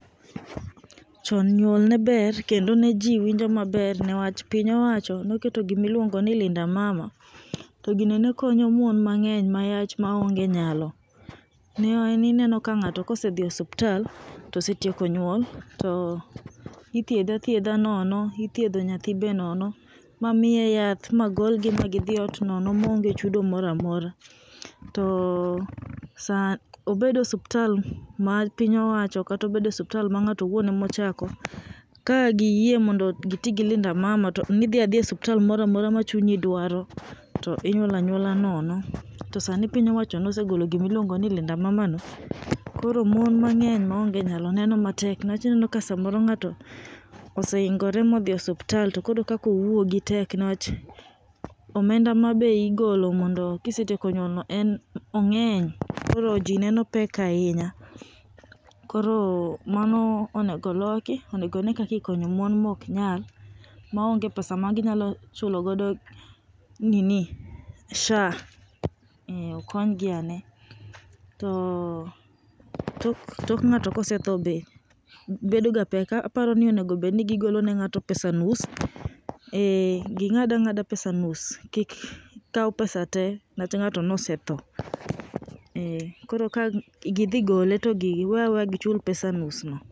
Chon nyuol ne ber kendo ne ji winjo maber niwach piny owacho noketo gima iluongo ni Linda Mama. To gino ne konyo mon mang'eny mayach maonge nyalo. Ne ineno ka ng'ato osedhi e osiptal to osetieko nyuol to ithiedhe athiedha nono ithiedho nyathi be nono mamiye yath, ma golgi gidhi ot nonon maonge chudo moro amora. Obed osiptal ma piny owacho kata obed osiptal ma ng'ato owuon ema ochako, ka giyie mondo giti gi Linda Mama to ne idhi e osiptal moro amora machunyi dwaro to inyuol anyuola nono. To sani piny owacho nosegolo gima iluongo ni Linda Mama no koro mon mang'eny maonge nyalo neno matek samoro ng'ato osehingore ma odhi e osiptal to koro kaka owuogi tek newach omenda ma be igolono mondo ka isetieko nyuolno en ong'eny koro ji neno pek ahinya koro mano onego loki onego ne kaka ikonyo mon ma ok nyal, maonge pesa ma ginyalo chulo godo nini SHA.,ee okony gi ane to tok ng'ato ka osetho be bedo ga pek. Aparo ni onego gigol noga ng'ato pesa nus. Ging‘ad ang'ada pesa nus. Kik kaw pesa te newach ng‘ato ne osetho, ee koro ka gidhi gole to giwe aweya gichul pesa nus ngo.